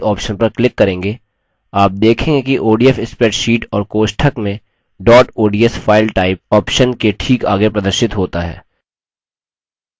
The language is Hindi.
आप देखेंगे कि odf spreadsheet और कोष्ठक में dot ods file type file type option के ठीक आगे प्रदर्शित होता है